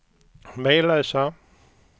Mellösa